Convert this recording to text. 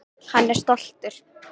Hann er stoltur.